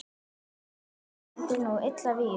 svartur stendur nú illa vígi.